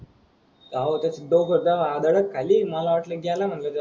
हव त्यात दोघझन आदडत खाली मला वाटल कि याला मनल.